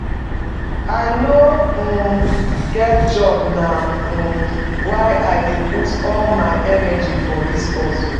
I no um get job na um why I dey put all my energy for dis hustle.